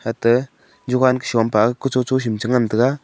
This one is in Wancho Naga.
ate jovan ke shom pe kucho cho sem chi ngan taiga.